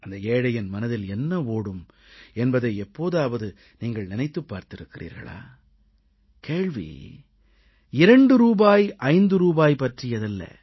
அந்த ஏழையின் மனதில் என்ன ஓடும் என்பதை எப்போதாவது நீங்கள் நினைத்துப் பார்த்திருக்கிறீர்களா கேள்வி 2 ரூபாய் 5 ரூபாய் பற்றியதல்ல